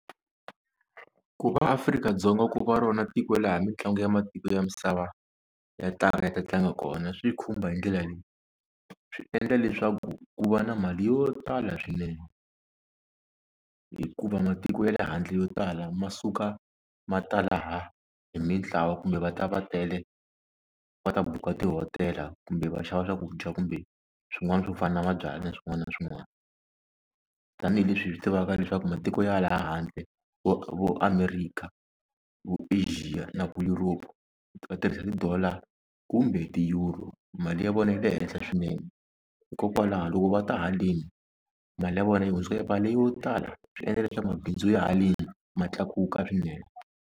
Ku va Afrika-Dzonga ku va rona tiko laha mitlangu ya matiko ya misava ya ta ka ya ta tlanga kona swi khumba hi ndlela leyi swi endla leswaku ku va na mali yo tala swinene hikuva matiko ya le handle yo tala ma suka ma ta laha hi mintlawa kumbe va ta va tele va ta buka tihotela kumbe va xava swakudya kumbe swin'wana swo fana na mabyalwa na swin'wana na swin'wana tanihileswi hi swi tivaka leswaku matiko ya le handle vo America, vo Asia na ku Europe va tirhisa ti-dollar kumbe ti-euro mali ya vona yi le henhla swinene hikokwalaho loko va ta haleni mali ya vona yi hundzuka yi va yo tala swi endla leswaku mabindzu ya haleni ma tlakuka swinene.